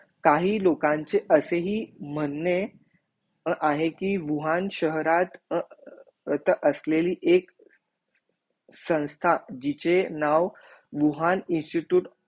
काही लोखांचे असे ही मनहे आहे की वूहान शहरात त असलेली एक संस्था जिचे नाव वूहान इन्स्टिटयूट